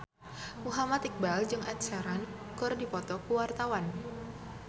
Muhammad Iqbal jeung Ed Sheeran keur dipoto ku wartawan